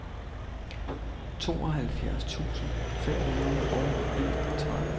tooghalvfjerds tusind fem hundrede og enogtredive